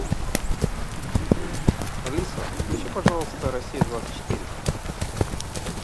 алиса включи пожалуйста россия двадцать четыре